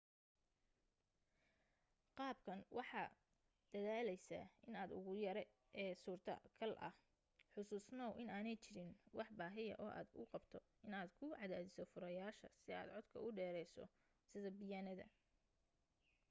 qaabkan waxaad daaleysaa inta ugu yare e suurtogal ah xasuusnoow inaanay jirin wax baahiya oo aad u qabto inaad ku cadaadiso furayaasha si aad codka u dheerayso sida biyaanada